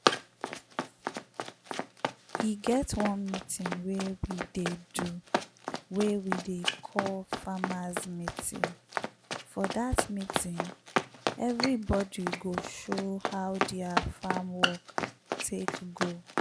e get one meeting wey we dey do wey we dey call 'farmers meeting'.for dat meeting everybodu go show how dia farm work take go.